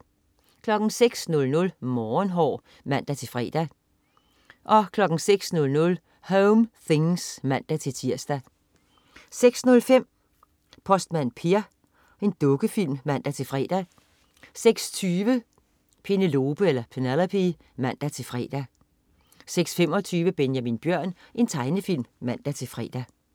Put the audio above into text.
06.00 Morgenhår (man-fre) 06.00 Home things (man-tirs) 06.05 Postmand Per. Dukkefilm (man-fre) 06.20 Penelope (man-fre) 06.25 Benjamin Bjørn. Tegnefilm (man-fre)